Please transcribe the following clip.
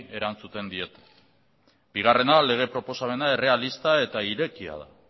erantzuten diete bigarrena proposamena errealista eta irekia da